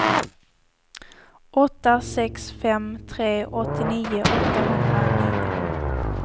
åtta sex fem tre åttionio åttahundranio